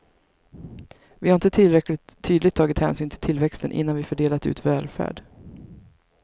Vi har inte tillräckligt tydligt tagit hänsyn till tillväxten innan vi fördelat ut välfärd.